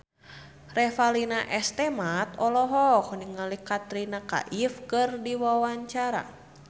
Revalina S. Temat olohok ningali Katrina Kaif keur diwawancara